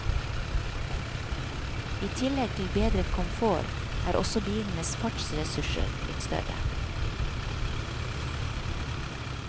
I tillegg til bedret komfort, er også bilenes fartsressurser blitt større.